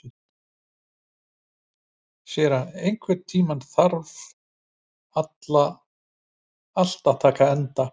Sera, einhvern tímann þarf allt að taka enda.